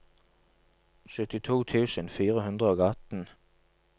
syttito tusen fire hundre og atten